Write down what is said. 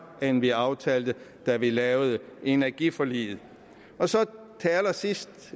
end vi aftalte da vi lavede energiforliget så til allersidst